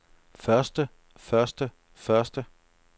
første første første